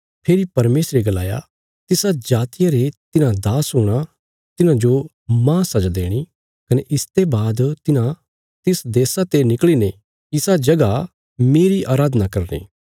फेरी परमेशरे गलाया तिसा जातिया रे तिन्हां दास हूणा तिन्हांजो मांह सजा देणी कने इसते बाद तिन्हां तिस देशा ते निकल़ीने इसा जगह मेरी अराधना करनी